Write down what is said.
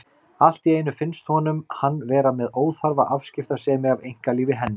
Allt í einu finnst honum hann vera með óþarfa afskiptasemi af einkalífi hennar.